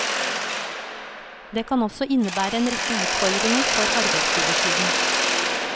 Det kan også innebære en rekke utfordringer for arbeidsgiversiden.